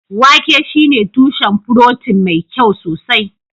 wake shine tushen furotin mai kyau sosai